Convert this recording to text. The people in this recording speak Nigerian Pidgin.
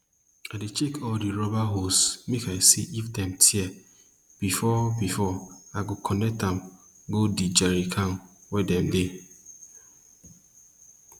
i dey check all de rubber hose make i see if dem tear before before i go connect am go d jerry can wey dem dey